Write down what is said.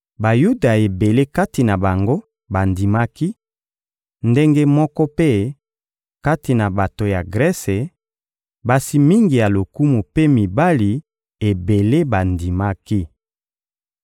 Bayuda ebele kati na bango bandimaki; ndenge moko mpe, kati na bato ya Grese, basi mingi ya lokumu mpe mibali ebele bandimaki.